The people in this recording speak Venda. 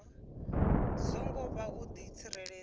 songo vha u di tsireledza